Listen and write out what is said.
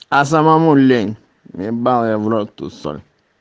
а самому лень ебал я в рот ту соль